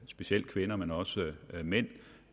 specielt kvinder men også mænd